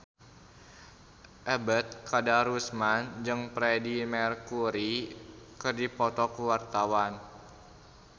Ebet Kadarusman jeung Freedie Mercury keur dipoto ku wartawan